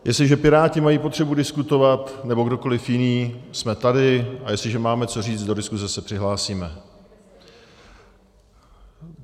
Jestliže piráti mají potřebu diskutovat, nebo kdokoli jiný, jsme tady, a jestliže máme co říci, do diskuse se přihlásíme.